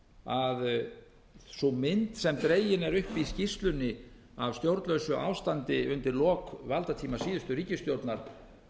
að mynd sem dregin er upp í skýrslunni af stjórnlausu ástandi undir lok valdatíma síðustu ríkisstjórnar